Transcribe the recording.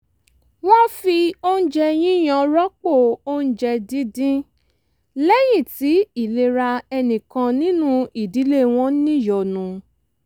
wọ́n fi oúnjẹ yíyan rọ́pò oúnjẹ díndín lẹ́yìn tí ìlera ẹnì kan nínú ìdílé wọn níyọnu